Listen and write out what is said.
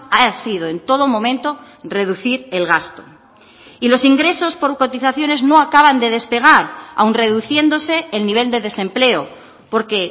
ha sido en todo momento reducir el gasto y los ingresos por cotizaciones no acaban de despegar aun reduciéndose el nivel de desempleo porque